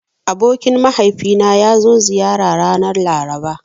Abokin mahaifina ya zo ziyara ranar Laraba.